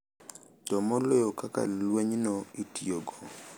To moloyo kaka lwenyno itiyogo.